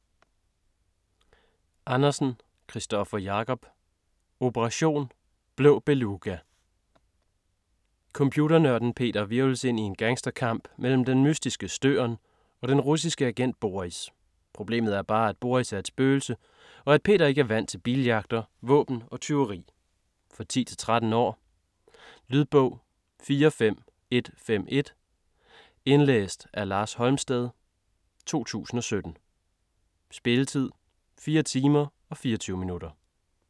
Andersen, Kristoffer Jacob: Operation: Blå beluga Computernørden Peter hvirvles ind i en gangsterkamp mellem den mystiske Støren, og den russiske agent Boris. Problemet er bare, at Boris er et spøgelse, og at Peter ikke er vant til biljagter, våben og tyveri! For 10-13 år. Lydbog 45151 Indlæst af Lars Holmsted, 2017. Spilletid: 4 timer, 24 minutter.